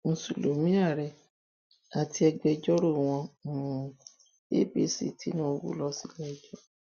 mùsùlùmí ààrẹ àti agbẹjọrò wọ um apc tinubu lọ síléẹjọ